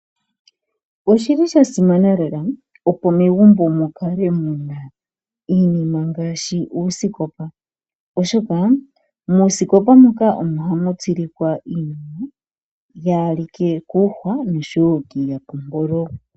Oshili sha simana lela opo megumbo mu kale mu na iinima ngaashi uusikopa iinima yaa ha li ke koohwa osho wo komayapompolo.